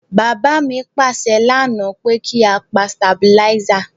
Bàbá mi pàsẹ lánáà pe ki a pa stabilizer